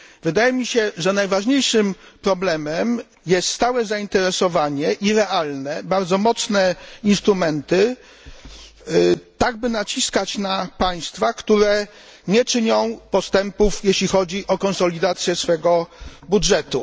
Wydaje mi się, że najważniejszym problemem jest stałe i realne zainteresowanie, bardzo mocne instrumenty, tak by naciskać na państwa, które nie czynią postępów jeśli chodzi o konsolidację swego budżetu.